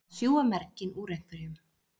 Að sjúga merginn úr einhverjum